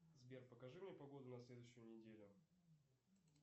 сбер покажи мне погоду на следующую неделю